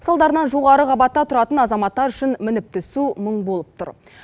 салдарынан жоғары қабатта тұратын азаматтар үшін мініп түсу мұң болып тұр